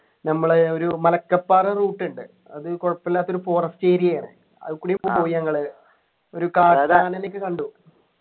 ഞമ്മളെ ഒരു മലക്കപ്പാറ route ഉണ്ട് അത് കുഴപ്പമില്ലാത്തൊരു forest area ആണ് അതുകൂടി പോയി നങ്ങള് ഒരു കാട്ടാനന ഒക്കെ കണ്ടു